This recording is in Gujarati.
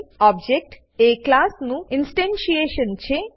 ઓબ્જેક્ટ એ ક્લાસ નું ઇનસ્ટેનશીએશન છે